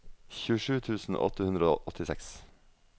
tjuesju tusen åtte hundre og åttiseks